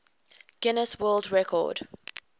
guinness world record